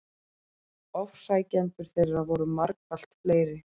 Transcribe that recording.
Ofsækjendur þeirra voru margfalt fleiri.